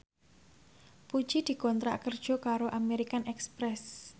Puji dikontrak kerja karo American Express